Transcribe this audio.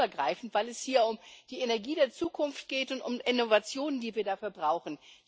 Er ist sehr übergreifend, weil es hier um die Energie der Zukunft geht und um Innovationen, die wir dafür brauchen.